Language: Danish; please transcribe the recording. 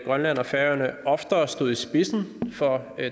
grønland og færøerne oftere stod i spidsen for